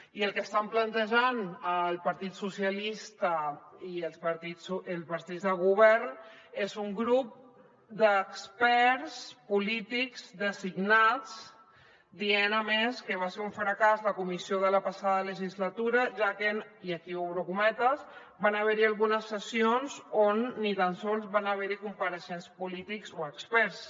i el que estan plantejant el partit socialista i els partits de govern és un grup d’experts polítics designats dient a més que va ser un fracàs la comissió de la passada legislatura ja que i aquí obro cometes van haver hi algunes sessions on ni tan sols van haver hi compareixents polítics o experts